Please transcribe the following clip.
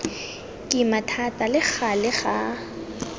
kima thata le gale ga